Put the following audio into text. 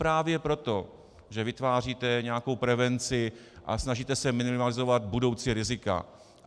Právě proto, že vytváříte nějakou prevenci a snažíte se minimalizovat budoucí rizika.